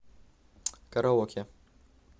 караоке